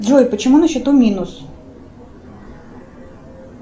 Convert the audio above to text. джой почему на счету минус